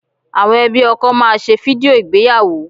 Àwọn ẹbí ọkọ máa ṣe fídíò ìgbéyàwó